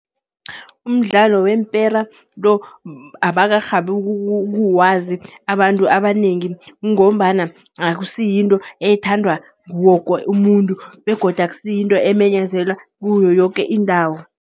Umdlalo weempera lo, abakarhabi ukuwazi abantu abanengi, ngombana akusiyinto ethandwa nguwo woke umuntu. Begodu akusiyinto emenyezelwa kiyo yoke indawo.